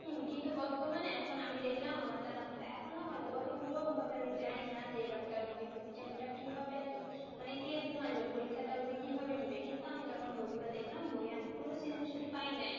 হুম কিন্তু বর্তমানে এখন আমি দেখলাম আমার জানামতো এখনো হয়তো বা পুরো ভাবে আমি জানিনা যে এবারকার বই System টা কি হবে এত মানে কি রকম আসবে পরীক্ষাটা ওদের কিভাবে নেবে কিন্তু আমি যখন বইগুলা দেখলাম বয়ে আমি কোন সৃজনশীল পাই নাই